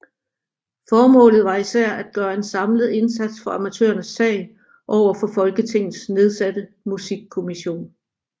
Formålet var især at gøre en samlet indsats for amatørernes sag over for Folketingets nedsatte musikkommission